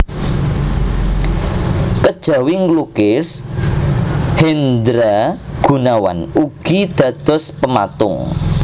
Kejawi nglukis Hendra Gunawan ugi dados pematung